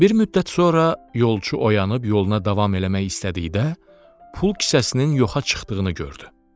Bir müddət sonra yolçu oyanıb yoluna davam eləmək istədikdə, pul kisəsinin yoxa çıxdığını gördü.